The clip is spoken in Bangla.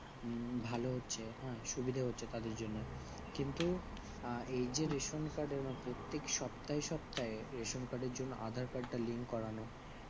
উম ভালো হচ্ছে হ্যাঁ সুবিধা হচ্ছে তাদের জন্য কিন্তু আঃ এই যে রেশন card এ বা প্রত্যেক সপ্তাহে সপ্তাহে রেশন card এর জন্য aadhar card তা link করানো